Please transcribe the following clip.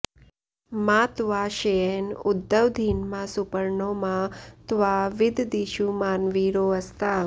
मा त्वा श्येन उद्वधीन्मा सुपर्णो मा त्वा विददिषुमान्वीरो अस्ता